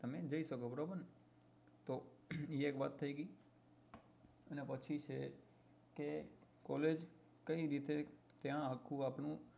તમે જી શકો બરોબર ને તો એ વાત થઇ ગઈ અને પછી છે કે collage કઈ રીતે ત્યાં આખું આપણું